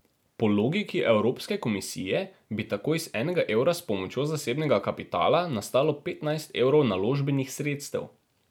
Po logiki evropske komisije bi tako iz enega evra s pomočjo zasebnega kapitala nastalo petnajst evrov naložbenih sredstev.